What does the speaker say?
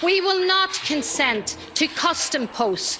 We will not consent to custom posts.